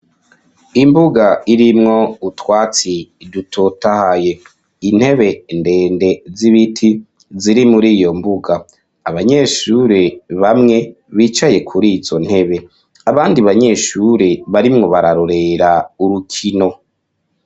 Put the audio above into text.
Imbuga irimwo utwatsi dutotahaye intebe ndende z'ibiti ziri muri iyo mbuga abanyeshure bamwe bicaye kuri izo ntebe abandi banyeshure barimwo bararorera urukino.